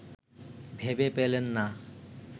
ভেবে পেলেন না